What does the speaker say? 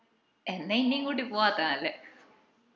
എന്ന ഇൻഞെയും കൂട്ടി പോവ്വത്തെയ നല്ലേ